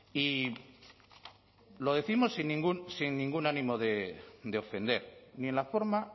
y lo décimos sin ningún ánimo de ofender ni en la forma